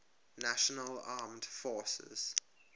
national armed forces